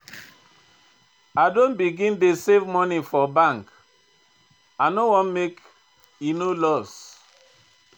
I don begin dey save moni for bank, I no wan make e no loss.